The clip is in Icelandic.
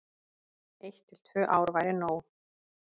Eitt til tvö ár væri nóg.